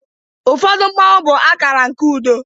ụfọdụ Mmanwu bụ akara nke udo